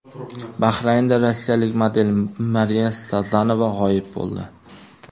Bahraynda rossiyalik model Mariya Sazonova g‘oyib bo‘ldi.